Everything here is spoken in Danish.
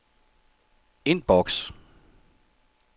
indboks